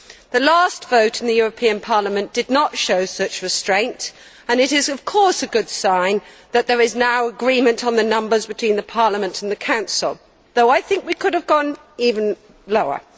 The last vote in the European Parliament did not show such restraint, and it is, of course, a good sign that there is now agreement on the numbers between Parliament and the Council, though I think we could have gone even lower.